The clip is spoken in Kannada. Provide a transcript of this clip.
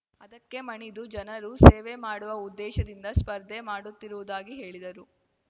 ಅದಕ್ಕೆ ಮಣಿದು ಜನರು ಸೇವೆ ಮಾಡುವ ಉದ್ದೇಶದಿಂದ ಸ್ಪರ್ಧೆ ಮಾಡುತ್ತಿರುವುದಾಗಿ ಹೇಳಿದರು